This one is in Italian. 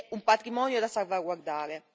un patrimonio da salvaguardare.